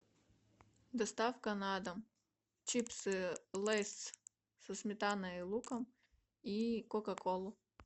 доставка на дом чипсы лейс со сметаной и луком и кока колу